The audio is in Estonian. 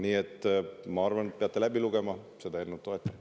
Nii et ma arvan, et peate selle eelnõu läbi lugema ja seda toetama.